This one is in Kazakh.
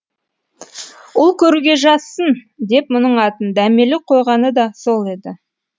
ұл көруге жазсын деп мұның атын дәмелі қойғаны да сол еді